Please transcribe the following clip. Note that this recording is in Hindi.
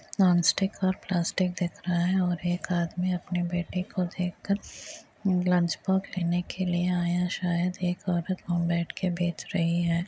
नॉनस्टिक और प्लास्टिक दिख रहा है और एक आदमी अपनी बेटे को देख कर लंचबॉक्स लेने के लिए आया है शायद एक औरत बैठ के बेच रही है।